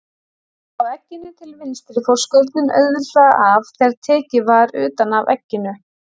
Á egginu til vinstri fór skurnin auðveldlega af þegar tekið var utan af egginu.